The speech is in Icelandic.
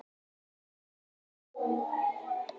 Gylfi Ásmundsson.